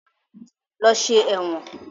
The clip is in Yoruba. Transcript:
Lọ ṣe ẹ̀wọ̀n!